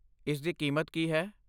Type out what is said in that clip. ਇਸਦੀ ਕੀਮਤ ਕੀ ਹੈ?